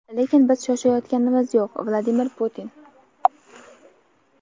lekin biz shoshayotganimiz yo‘q – Vladimir Putin.